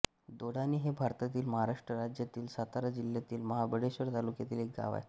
दोडानी हे भारतातील महाराष्ट्र राज्यातील सातारा जिल्ह्यातील महाबळेश्वर तालुक्यातील एक गाव आहे